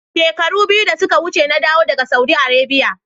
Shekaru biyu da suka wuce na dawo daga Saudi Arabia